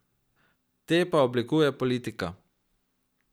Te pa oblikuje politika.